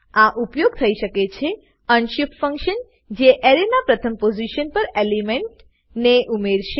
આ ઉપયોગ થઈ શકે છે અનશિફ્ટ ફંકશન જે એરેના પ્રથમ પોઝીશન પર એલિમેન્ટને ઉમેરશે